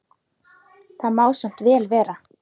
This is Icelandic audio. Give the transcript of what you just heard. Það má samt vel vera.